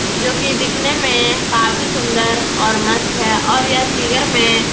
जो कि दिखने में काफी सुन्दर और मस्त है और यह फिगर में --